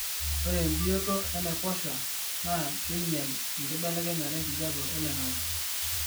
ore embioto enaiposha naa keinyel enkibelekenyata enkijape oloingangi